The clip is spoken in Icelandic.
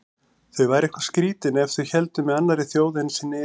Þau væru eitthvað skrýtin ef þau héldu með annarri þjóð en sinni eigin.